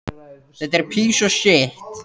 Umræddur réttur gildir um alla hluthafa.